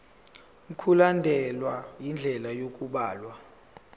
mkulandelwe indlela yokubhalwa